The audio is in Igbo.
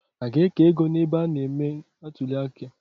A ga-eke ego n’ebe a na –eme atuliaka